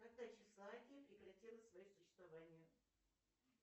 когда чехословакия прекратила свое существование